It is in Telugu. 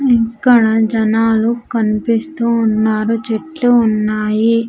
ఇక్కడ జనాలు కనిపిస్తూ ఉన్నారు చెట్లు ఉన్నాయి.